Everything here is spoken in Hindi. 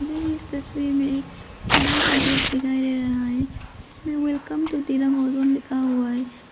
मुझे इस तस्वीर में एक बड़ा सा गेट दिखाई दे रहा है जिसमे वेलकम टू दिरांग ओज़ोंग लिखा हुआ है।